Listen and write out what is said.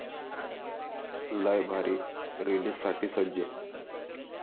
लय भारी' रिलीजसाठी सज्ज